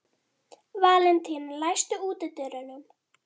Valentína, læstu útidyrunum.